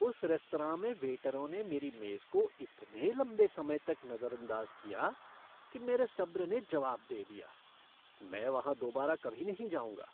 उस रेस्तरां में वेटरों ने मेरी मेज़ को इतने लंबे समय तक नज़रअंदाज़ किया कि मेरे सब्र ने जवाब दे दिया। मैं वहाँ दोबारा कभी नहीं जाऊँगा।